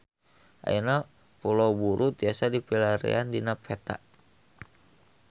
Ayeuna Pulau Buru tiasa dipilarian dina peta